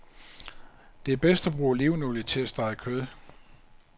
Det er bedst at bruge olivenolie til at stege kød.